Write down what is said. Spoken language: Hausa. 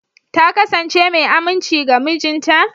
Ta kasance mai aminci ga mijinta?